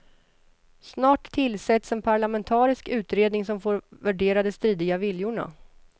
Snart tillsätts en parlamentarisk utredning som får värdera de stridiga viljorna.